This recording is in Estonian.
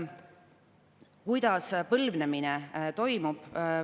Kuidas põlvnemine toimub?